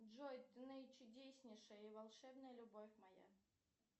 джой ты наичудеснейшая и волшебная любовь моя